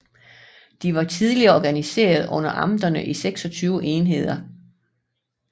De var tidligere organiseret under amterne i 26 enheder